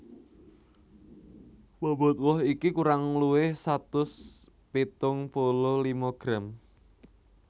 Bobot woh iki kurang luwih satus pitung puluh lima gram